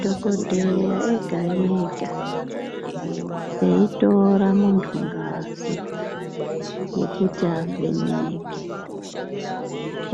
Dhogodheya ega-ega, eitora muntu ngazi yekuti avheneke.